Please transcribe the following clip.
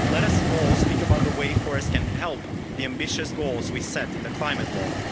Let us all speak about the way forests can help the ambitious goals we set in the Climate Law.